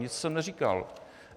Víc jsem neříkal.